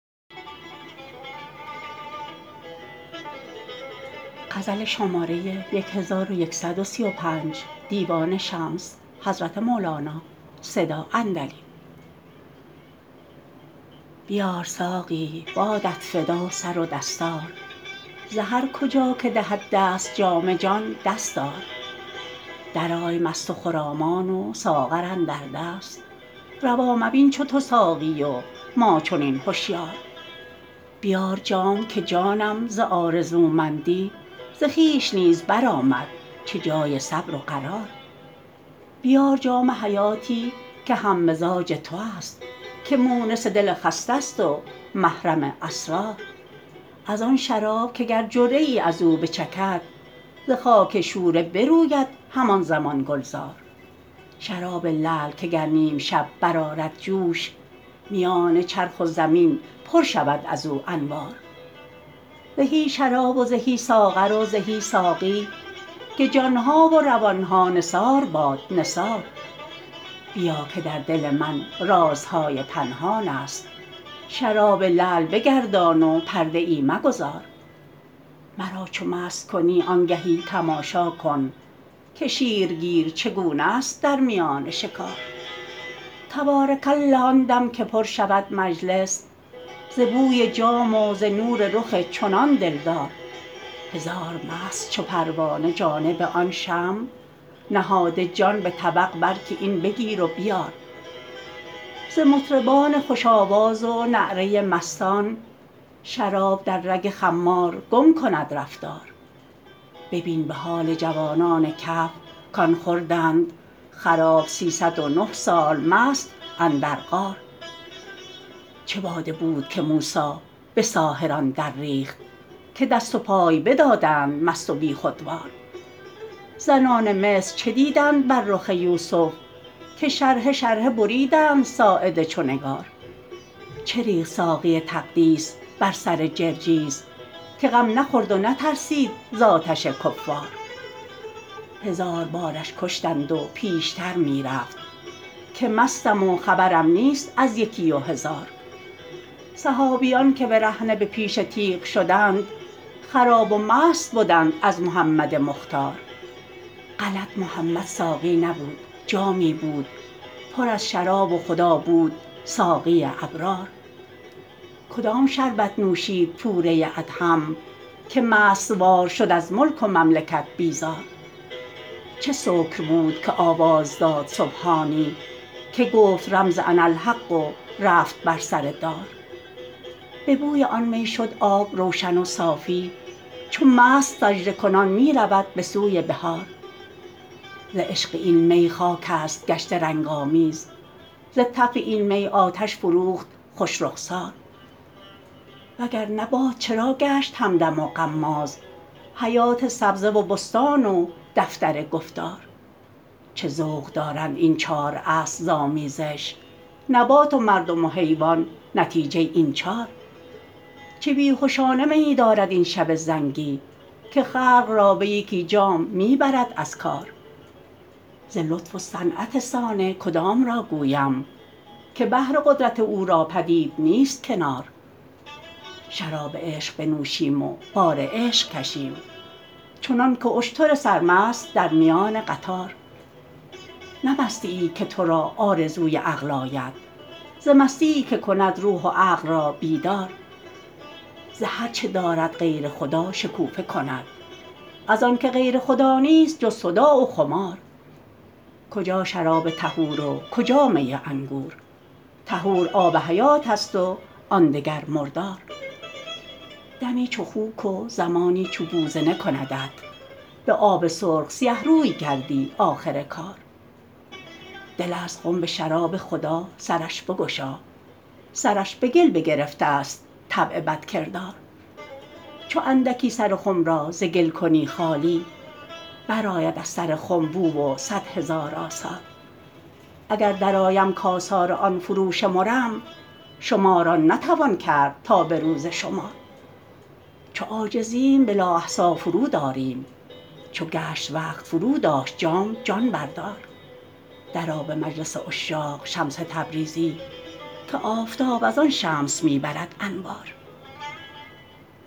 بیار ساقی بادت فدا سر و دستار ز هر کجا که دهد دست جام جان دست آر درآی مست و خرامان و ساغر اندر دست روا مبین چو تو ساقی و ما چنین هشیار بیار جام که جانم ز آرزومندی ز خویش نیز برآمد چه جای صبر و قرار بیار جام حیاتی که هم مزاج توست که مونس دل خسته ست و محرم اسرار از آن شراب که گر جرعه ای از او بچکد ز خاک شوره بروید همان زمان گلزار شراب لعل که گر نیم شب برآرد جوش میان چرخ و زمین پر شود از او انوار زهی شراب و زهی ساغر و زهی ساقی که جان ها و روان ها نثار باد نثار بیا که در دل من رازهای پنهانست شراب لعل بگردان و پرده ای مگذار مرا چو مست کنی آنگهی تماشا کن که شیرگیر چگونست در میان شکار تبارک الله آن دم که پر شود مجلس ز بوی جام و ز نور رخ چنان دلدار هزار مست چو پروانه جانب آن شمع نهاده جان به طبق بر که این بگیر و بیار ز مطربان خوش آواز و نعره مستان شراب در رگ خمار گم کند رفتار ببین به حال جوانان کهف کان خوردند خراب سیصد و نه سال مست اندر غار چه باده بود که موسی به ساحران درریخت که دست و پای بدادند مست و بیخودوار زنان مصر چه دیدند بر رخ یوسف که شرحه شرحه بریدند ساعد چو نگار چه ریخت ساقی تقدیس بر سر جرجیس که غم نخورد و نترسید ز آتش کفار هزار بارش کشتند و پیشتر می رفت که مستم و خبرم نیست از یکی و هزار صحابیان که برهنه به پیش تیغ شدند خراب و مست بدند از محمد مختار غلط محمد ساقی نبود جامی بود پر از شراب و خدا بود ساقی ابرار کدام شربت نوشید پوره ادهم که مست وار شد از ملک و مملکت بیزار چه سکر بود که آواز داد سبحانی که گفت رمز اناالحق و رفت بر سر دار به بوی آن می شد آب روشن و صافی چو مست سجده کنان می رود به سوی بحار ز عشق این می خاکست گشته رنگ آمیز ز تف این می آتش فروخت خوش رخسار وگر نه باد چرا گشت همدم و غماز حیات سبزه و بستان و دفتر گفتار چه ذوق دارند این چار اصل ز آمیزش نبات و مردم و حیوان نتیجه این چار چه بی هشانه میی دارد این شب زنگی که خلق را به یکی جام می برد از کار ز لطف و صنعت صانع کدام را گویم که بحر قدرت او را پدید نیست کنار شراب عشق بنوشیم و بار عشق کشیم چنانک اشتر سرمست در میان قطار نه مستیی که تو را آرزوی عقل آید ز مستی که کند روح و عقل را بیدار ز هر چه دارد غیر خدا شکوفه کند از آنک غیر خدا نیست جز صداع و خمار کجا شراب طهور و کجا می انگور طهور آب حیاتست و آن دگر مردار دمی چو خوک و زمانی چو بوزنه کندت به آب سرخ سیه روی گردی آخر کار دلست خنب شراب خدا سرش بگشا سرش به گل بگرفتست طبع بدکردار چو اندکی سر خم را ز گل کنی خالی برآید از سر خم بو و صد هزار آثار اگر درآیم کآثار آن فروشمرم شمار آن نتوان کرد تا به روز شمار چو عاجزیم بلا احصیی فرود آریم چو گشت وقت فروداشت جام جان بردار درآ به مجلس عشاق شمس تبریزی که آفتاب از آن شمس می برد انوار